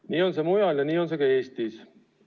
Nii on see mujal ja nii on see ka Eestis.